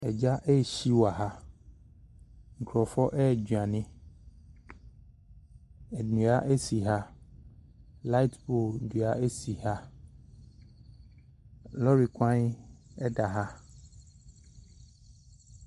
Gya rehye wɔ ha. Nkurɔfoɔ redwane. Nnua si ha. Light pole dua si ha. Lɔre kwan da ha.